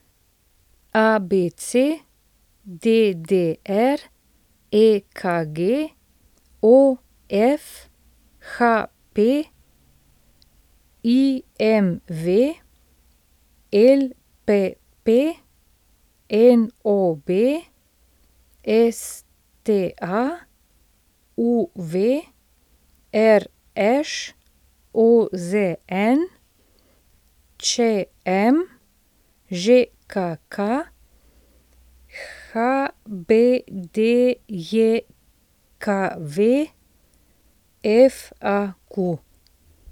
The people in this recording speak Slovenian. ABC, DDR, EKG, OF, HP, IMV, LPP, NOB, STA, UV, RŠ, OZN, ČM, ŽKK, HBDJKV, FAQ.